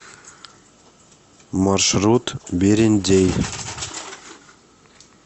маршрут берендей